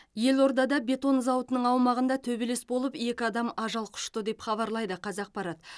елордада бетон зауытының аумағында төбелес болып екі адам ажал құшты деп хабарлайды қазақпарат